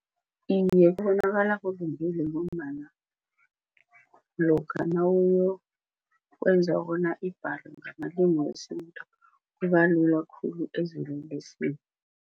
Iye, kubonakala kulungile ngombana lokha nawuyokwenza bona ibhalwe ngamalimi wesintu kubalula khulu